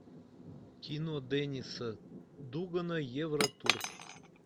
кино денниса дугана евротур